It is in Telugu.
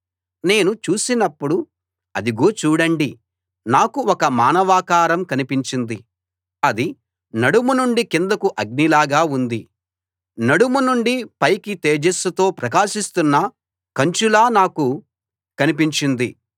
నేను చూసినప్పుడు అదిగో చూడండి నాకు ఒక మానవాకారం కనిపించింది అది నడుము నుండి కిందకు అగ్నిలాగా ఉంది నడుము నుండి పైకి తేజస్సుతో ప్రకాశిస్తున్న కంచులా నాకు కనిపించింది